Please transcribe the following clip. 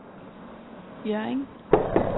Hjørring